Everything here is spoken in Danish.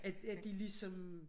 At at de ligesom